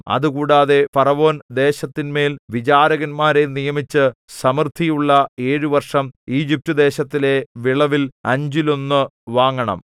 അതുകൂടാതെ ഫറവോൻ ദേശത്തിന്മേൽ വിചാരകന്മാരെ നിയമിച്ച് സമൃദ്ധിയുള്ള ഏഴു വർഷം ഈജിപ്റ്റുദേശത്തിലെ വിളവിൽ അഞ്ചിലൊന്നു വാങ്ങണം